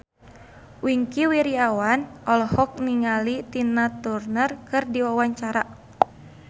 Wingky Wiryawan olohok ningali Tina Turner keur diwawancara